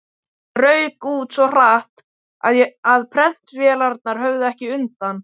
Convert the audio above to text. Það rauk út svo hratt, að prentvélarnar höfðu ekki undan.